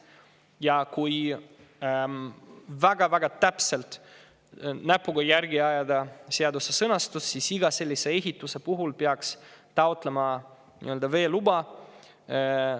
Ja kui seaduse sõnastuses väga täpselt näpuga järge ajada, siis selgub, et iga sellise ehituse puhul peaks taotlema veeluba.